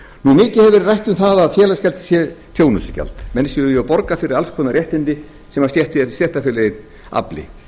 stjórnlagadómshúss mikið hefur verið rætt um það að félagsgjald sé þjónustugjald menn séu jú að borga fyrir alls konar réttindi sem stéttarfélagið afli